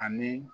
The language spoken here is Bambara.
Ani